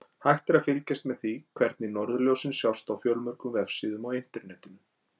Hægt er að fylgjast með því hvenær norðurljósin sjást á fjölmörgum vefsíðum á Internetinu.